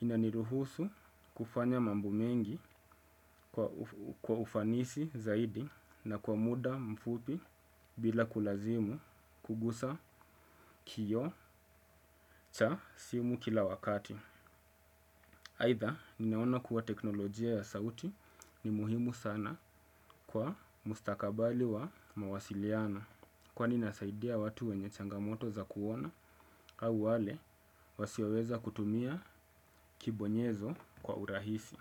ina niruhusu kufanya mambo mengi kwa ufanisi zaidi na kwa muda mfupi bila kulazimu kugusa kioo cha simu kila wakati. Aidha ninaona kuwa teknolojia ya sauti ni muhimu sana kwa mustakabali wa mawasiliano. Kwani inasaidia watu wenye changamoto za kuona au wale wasioweza kutumia kibonyezo kwa urahisi.